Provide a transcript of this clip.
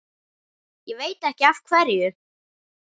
Hann veit ekki af hverju.